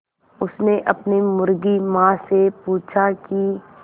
उसने अपनी मुर्गी माँ से पूछा की